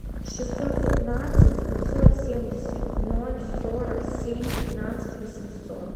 шестьсот пятнадцать девятьсот семьдесят ноль сорок семь пятнадцать восемьсот